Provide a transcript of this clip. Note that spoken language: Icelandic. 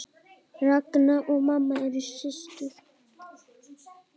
Ragna og mamma eru systur.